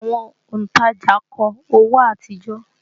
Àwọn òntajà kọ owó àtijọ́